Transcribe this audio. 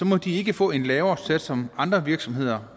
må de ikke få en lavere sats som andre virksomheder